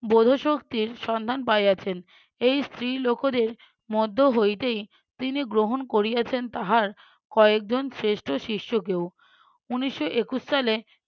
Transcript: বোধোশক্তির সন্ধান পাইয়াছেন। এই স্ত্রী লোকোদের মধ্য হইতেই তিনি গ্রহণ করিয়াছেন তাহার কয়েকজন শ্রেষ্ঠ শিষ্য কেও উনিশশো একুশ সালে